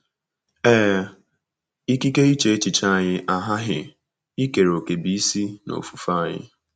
Ee, ikike iche echiche anyị aghaghị ikere òkè bụ́ isi n’ofufe anyị.